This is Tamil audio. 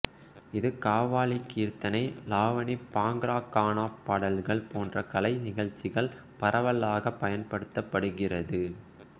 இது கவ்வாலி கீர்த்தனை லாவணி பாங்ரா கானா பாடல்கள் போன்ற கலைநிகழ்ச்சிகளில் பரவலாக பயன்படுத்தப்படுகிறது